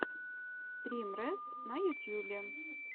стрим рэс на ютьюбе